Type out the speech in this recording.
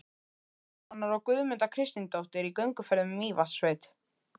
Stefánssonar, og Guðmunda Kristinsdóttir í gönguferð um Mývatnssveit.